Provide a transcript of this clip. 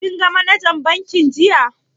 Kin ga manajan bankin jiya?